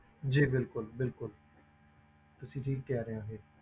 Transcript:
ਜੀ ਬਿਲਕੁਲ ਬਿਲਕੁਲ ਤੁਸੀਂ ਠੀਕ ਕਹਿ ਰਹੇ ਹੋ ਇਹ।